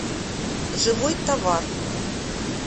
живой товар